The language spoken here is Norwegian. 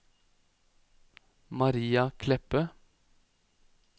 Maria Kleppe